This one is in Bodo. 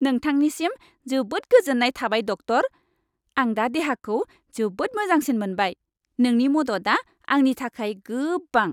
नोंथांनिसिम जोबोद गोजोन्नाय थाबाय, डक्टर! आं दा देहाखौ जोबोद मोजांसिन मोनबाय। नोंनि मददआ आंनि थाखाय गोबां।